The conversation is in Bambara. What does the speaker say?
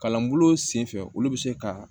Kalan bulon sen fɛ olu bi se ka